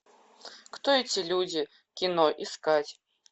кто эти люди кино искать